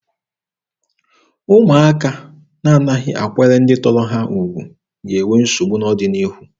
Ụmụaka na-anaghị akwanyere ndị tọrọ ha ugwu ga-enwe nsogbu n'ọdịnihu.